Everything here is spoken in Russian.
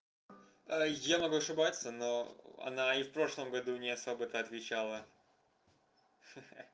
я могу ошибаться но она и в прошлом году не особо-то отвечала ха-ха